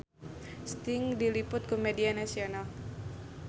Sting diliput ku media nasional